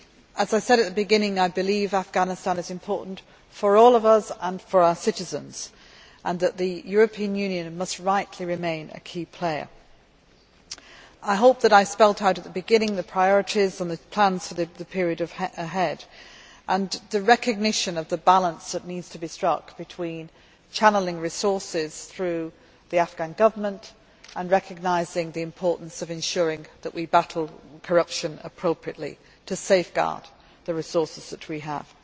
As I said at the beginning, I believe Afghanistan is important for all of us and for our citizens, and that the European Union must rightly remain a key player. I hope that I spelled out at the beginning the priorities and plans for the period ahead, together with the recognition of the balance that needs to be struck between channelling resources through the Afghan Government and recognising the importance of ensuring that we battle corruption appropriately, in order to safeguard the resources that we have.